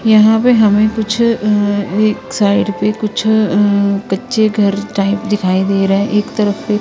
यहां पे हमें कुछ अं एक साइड पे कुछ अं कच्चे घर टाइप दिखाई दे रहा है एक तरफ से--